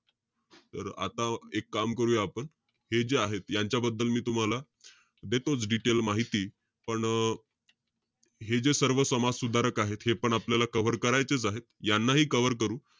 तर आता एक काम करूया आपण. हे जे आहेत, यांच्याबद्दल मी तुम्हाला, देतोच detail माहिती. पण हे जे सर्व समाजसुधारक आहेत हे पण आपल्याला cover करायचेच आहे. यांनाही cover करू.